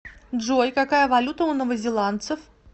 джой какая валюта у новозеландцев